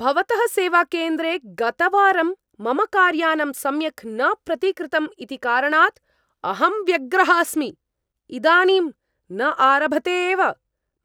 भवतः सेवाकेन्द्रे गतवारं मम कार्यानं सम्यक् न प्रतिकृतम् इति कारणात् अहं व्यग्रः अस्मि, इदानीं न आरभते एव,